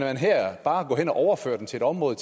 bare hen og overfører den til et område